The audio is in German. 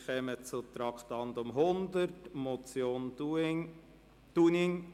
Wir kommen zum Traktandum 100, einer Motion Dunning: